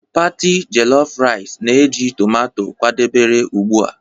party jellof rice na-eji tomato kwadebere ugbu a